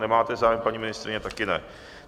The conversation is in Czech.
Nemáte zájem, paní ministryně taky ne.